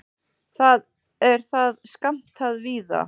Þar er það skammtað víða.